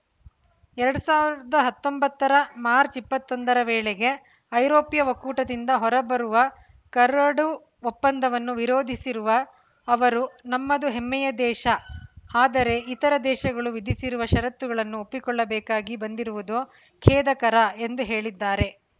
ಎರಡ್ ಸಾವಿರದ ಹತ್ತೊಂಬತ್ತರ ಮಾರ್ಚ್ ಇಪ್ಪತ್ತ್ ಒಂಬತ್ತರ ವೇಳೆಗೆ ಐರೋಪ್ಯ ಒಕ್ಕೂಟದಿಂದ ಹೊರ ಬರುವ ಕರಡು ಒಪ್ಪಂದವನ್ನು ವಿರೋಧಿಸಿರುವ ಅವರು ನಮ್ಮದು ಹೆಮ್ಮೆಯ ದೇಶ ಆದರೆ ಇತರ ದೇಶಗಳು ವಿಧಿಸಿರುವ ಷರತ್ತುಗಳನ್ನು ಒಪ್ಪಿಕೊಳ್ಳಬೇಕಾಗಿ ಬಂದಿರುವುದು ಖೇದಕರ ಎಂದು ಹೇಳಿದ್ದಾರೆ